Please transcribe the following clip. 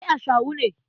Kai ashawu ne.